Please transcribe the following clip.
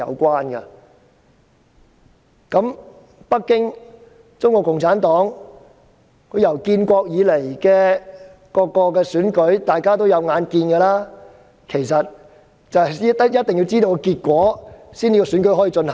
大家有目共睹，建國以來的各次選舉，北京和中國共產黨一定要知道結果才可以進行。